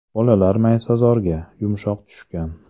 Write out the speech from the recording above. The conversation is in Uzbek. Bolalar maysazorga, yumshoq tushgan.